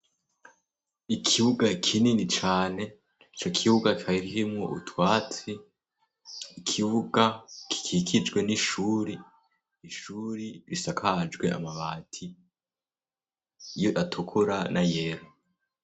Ikibuga kinini cane co kibuga farhimu utwatsi ikibuga gikikijwe n'ishuri ishuri bisakajwe amabati ye atukura na yera.